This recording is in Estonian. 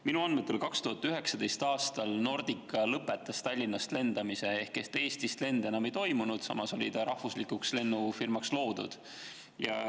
Minu andmetel 2019. aastal Nordica lõpetas Tallinnast lendamise ehk Eestist lende enam ei toimunud, samas oli ta rahvuslikuks lennufirmaks loodud.